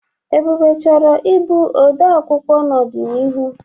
Ebube chọrọ ịbụ ode akwụkwọ n'ọdịnihu.